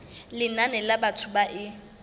lenane la batho ba e